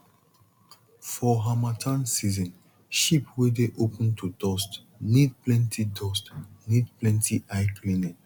for harmattan season sheep wey dey open to dust need plenty dust need plenty eye cleaning